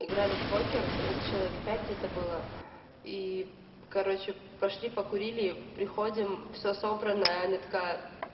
играли в покер нас человек пять где-то было и короче пошли покурили приходим всё собранное аня такая